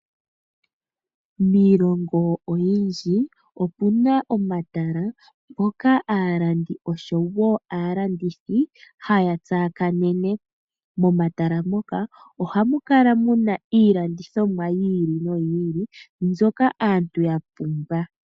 Miilongo oyindji omuna omatala ngoka aalandi oshowo aalandithi haya tsaakanene. Momatala muka ohamu kala muna iilandithomwa yi ili noyi ili mbyoka aantu ya pumbwa.